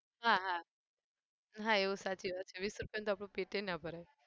હા હા એવું સાચી વાત વીસ રૂપિયાનુંતો આપડું પેટએ ના ભરાય.